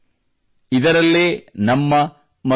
ಅವುಗಳಿಗೆ ಮೊದಲಿನ ಸ್ವರೂಪವನ್ನು ನೀಡೋಣ